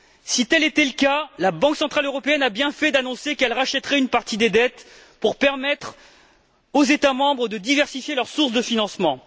Si tel était le cas, la Banque centrale européenne avait bien fait d'annoncer qu'elle rachèterait une partie des dettes pour permettre aux États membres de diversifier leurs sources de financement.